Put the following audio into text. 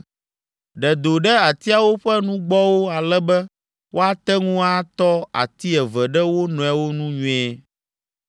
Ɖe do ɖe atiawo ƒe nugbɔwo ale be woate ŋu atɔ ati eve ɖe wo nɔewo nu nyuie.